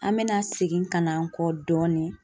An mɛna segin ka na an kɔ dɔɔni.